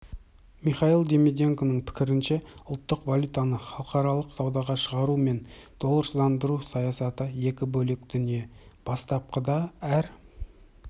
михаил димиденконың пікірінше ұлттық валютаны халықаралық саудаға шығару мен долларсыздандыру саясаты екі бөлек дүние бастапқыда әр